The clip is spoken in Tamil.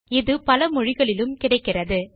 இது பல மொழிகளிலும் கிடைக்கிறது